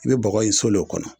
I bɛ bɔgɔ ye sole kɔnɔ